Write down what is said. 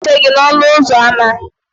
Ana m eche gi n'ọnụ ụzọ ámá